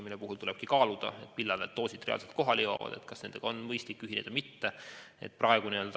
Nende puhul tulebki kaaluda, millal need doosid reaalselt kohale jõuavad, et kas nendega on mõistlik ühineda või mitte.